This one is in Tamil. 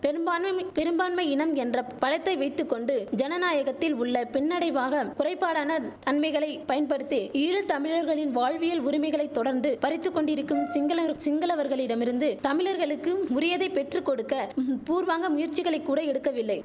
பெரும்பான்மைமி பெரும்பான்மை இனம் என்ற பலத்தை வைத்து கொண்டு ஜனநாயகத்தில் உள்ள பின்னடைவாக குறைபாடான தன்மைகளை பயன்படுத்தி ஈழ தமிழர்களின் வாழ்வியல் உரிமைகளை தொடர்ந்து பறித்து கொண்டிருக்கும் சிங்களர் சிங்களவர்களிடமிருந்து தமிழர்களுக்கும் உரியதை பெற்று கொடுக்க பூர்வாங்க முயற்சிகளை கூட எடுக்கவில்லை